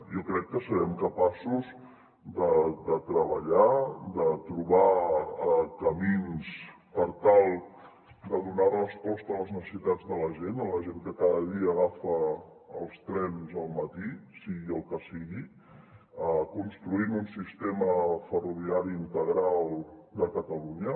jo crec que serem capaços de treballar de trobar camins per tal de donar resposta a les necessitats de la gent a la gent que cada dia agafa els trens al matí sigui el que sigui construint un sistema ferroviari integral de catalunya